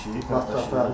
Dedi ki, qardaş.